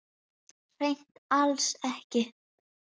Hreint alls ekki.